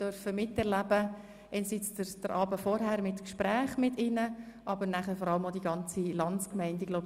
Den Abend vorher durften wir mit Gesprächen bei Ihnen verbringen und dann vor allem die ganze Landsgemeinde miterleben.